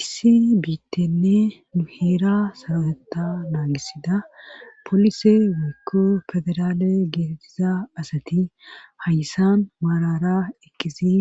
issi biittenne nu heera saraeta naagisida polise woykko federaale geettiza asati hayssan maarara ekkisi